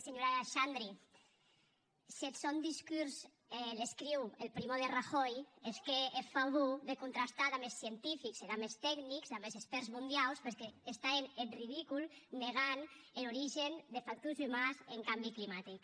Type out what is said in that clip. senhora xandri s’eth sòn discors l’escriu el primo de rajoy hèsque eth favor de contrastar damb es scientifics e damb es tecnics damb es expèrts mondiaus perque estan hènt eth ridicul negant er origen des factors umans en cambi climatic